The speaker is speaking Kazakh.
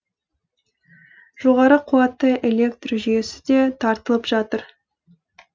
жоғары қуатты электр жүйесі де тартылып жатыр